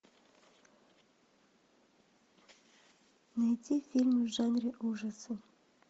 найти фильм в жанре ужасы